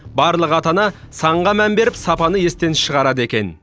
барлық ата ана санға мән беріп сапаны естен шығарады екен